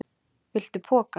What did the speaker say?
Viltu poka?